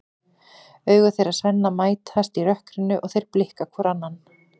Augu þeirra Svenna mætast í rökkrinu og þeir blikka hvor annan.